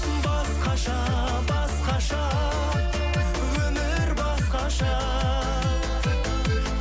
басқаша басқаша өмір басқаша